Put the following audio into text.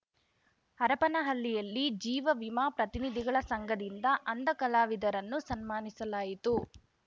ಹರಪನಹಳ್ಳಿಯಲ್ಲಿ ಜೀವ ವಿಮಾ ಪ್ರತಿನಿಧಿಗಳ ಸಂಘದಿಂದ ಅಂಧ ಕಲಾವಿದರನ್ನು ಸನ್ಮಾನಿಸಲಾಯಿತು